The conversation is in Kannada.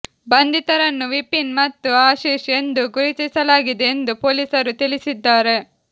ಬಂಧಿತರನ್ನು ವಿಪಿನ್ ಮತ್ತು ಆಶಿಶ್ ಎಂದು ಗುರುತಿಸಲಾಗಿದೆ ಎಂದು ಪೊಲೀಸರು ತಿಳಿಸಿದ್ದಾರೆ